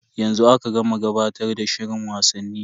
Yanzu aka gama gabatar da shirin wasanni.